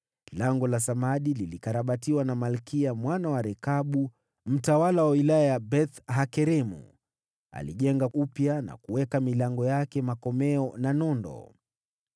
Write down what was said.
Lango la Samadi lilikarabatiwa na Malkiya mwana wa Rekabu, mtawala wa wilaya ya Beth-Hakeremu. Alilijenga upya, na kuweka milango yake, na makomeo na nondo.